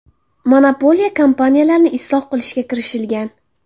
Monopoliya kompaniyalarni isloh qilishga kirishilgan.